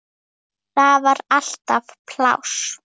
Þar var alltaf pláss.